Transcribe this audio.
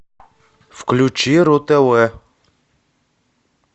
включи ру тв